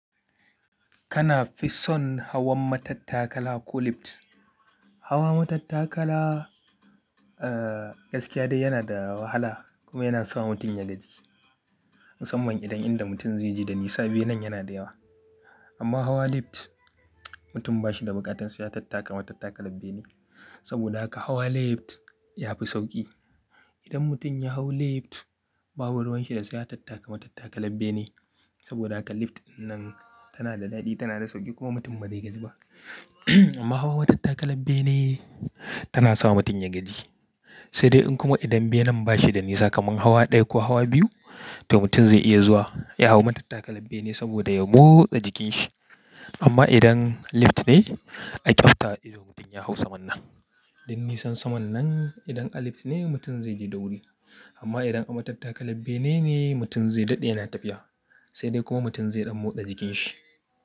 Kana fi son hawan matattakala ko lift? Hawa matattakala, gaskiya dai yana da wahala kuma yana sa mutum ya gaji. Musamman idan inda mutum zai je da nisa benen yana da yawa. Amma hawa lift mutum ba shi da buƙatar su ya tattaka matattakala bene. Saboda haka hawa lift yafi sauƙi. Idan mutum ya hau lift babu ruwan shi da sai ya tattaka matattakala bene. Saboda haka lift dinnan tana da daɗi, tana da sauƙi kuma mutum bazai gaji ba. Amma hawa matattakala bene tana sa mutum ya gaji. Sai dai in kuma idan benen ba shi da nisa kaman hawa ɗaya ko hawa biyu, to mutum zai iya zuwa ya hau matattakalar bene saboda ya motsa jikin shi. Amma idan lift ne a ƙyaftawar ido mutum ya hau saman nan. Don nisan saman nan idan a lift ne mutum zai je da wuri. Amma idan a matattakalar bene ne mutum zai daɗe yana tafiya. Sai dai kuma mutum zai ɗan motsa jikin shi.